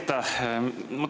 Aitäh!